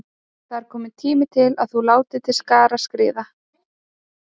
Það er kominn tími til að þú látir til skarar skríða.